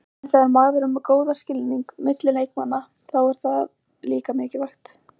En þegar maður er með góðan skilning milli leikmanna, þá er það líka mikilvægt.